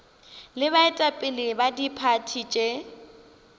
le baetapele ba diphathi tše